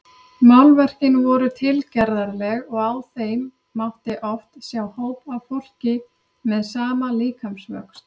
Málverkin voru tilgerðarleg og á þeim mátti oft sjá hóp af fólki með sama líkamsvöxt.